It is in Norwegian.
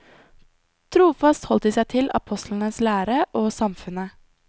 Trofast holdt de seg til apostlenes lære og samfunnet.